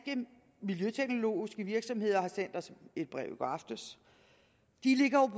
miljøteknologiske virksomheder har sendt os et brev i går aftes de ligger jo